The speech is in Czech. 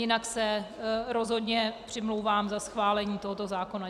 Jinak se rozhodně přimlouvám za schválení tohoto zákona.